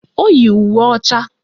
O yi uwe ọcha